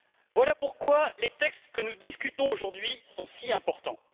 Voilà pourquoi les textes que nous discutons aujourd'hui sont si importants.